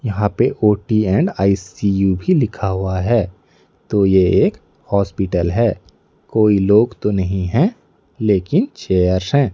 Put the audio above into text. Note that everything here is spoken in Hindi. यहां पे ओ_टी एण्ड आइ_सी_यू भी लिखा हुआ है तो ये एक हॉस्पिटल है। कोई लो--